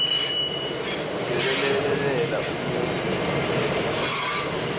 yekwelekelela umuntfu ngendlu